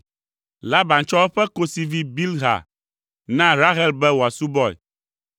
Laban tsɔ eƒe kosivi Bilha na Rahel be wòasubɔe.